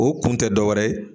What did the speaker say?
O kun tɛ dɔ wɛrɛ ye